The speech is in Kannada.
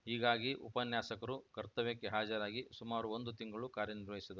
ಹೀಗಾಗಿ ಉಪನ್ಯಾಸಕರು ಕರ್ತವ್ಯಕ್ಕೆ ಹಾಜರಾಗಿ ಸುಮಾರು ಒಂದು ತಿಂಗಳು ಕಾರ್ಯ ನಿರ್ವಹಿಸಿದ